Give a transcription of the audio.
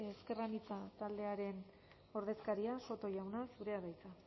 ezker anitza taldearen ordezkaria soto jauna zurea da hitza